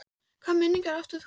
Hvaða minningar átt þú af jólum?